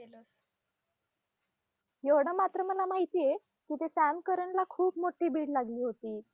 एवढं मात्र मला माहीतीय की ते सॅम करनला खूप मोठी bid लागली होती.